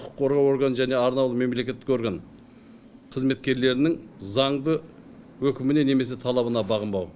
құқық қорғау органы және арнаулы мемлекеттік орган қызметкерлерінің заңды өкіміне немесе талабына бағынбау